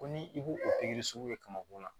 Ko ni i b'o o pikiri sugu kɛ ka mako la